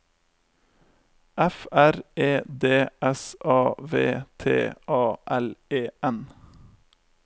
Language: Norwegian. F R E D S A V T A L E N